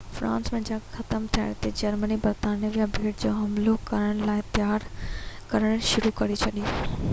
France لاءِ جنگ ختم ٿيڻ تي جرمني برطانوي ٻيٽ تي حملو ڪرڻ لاءِ تيار ڪرڻ شروع ڪري ڇڏي